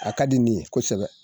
A ka di ne ye kosɛbɛ